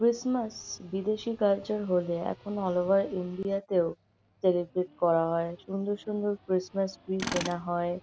Christmas বিদেশী culture হলে এখন অল ওভার ইন্ডিয়া তেও সেলিব্রেট করা হয়। সুন্দর সুন্দর ক্রিসমাস ট্রি কেনা হয়।